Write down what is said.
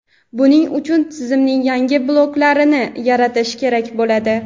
Buning uchun tizimning yangi bloklarini yaratish kerak bo‘ladi.